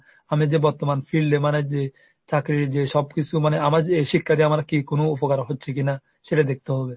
আমি যে বর্তমান field মানে যে চাকরীর যে সবকিছু মানে আমার যে এই শিক্ষা দিয়ে আমরা কি কোনো উপকার হচ্ছে কিনা? সেটা দেখতে হবে।